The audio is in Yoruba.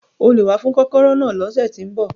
O lè wá fún kọ́kọ́rọ́ náà ní ọ̀sẹ̀ tí ń bọ̀.